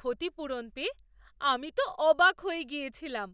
ক্ষতিপূরণ পেয়ে আমি তো অবাক হয়ে গেছিলাম!